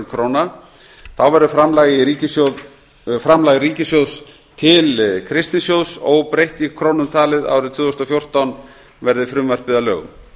króna þá verður framlag ríkissjóðs til kristnisjóðs óbreytt í krónum talið árið tvö þúsund og fjórtán verði frumvarpið að lögum